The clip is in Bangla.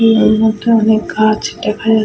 এর মধ্যে অনেক গাছ দেখা যাচ --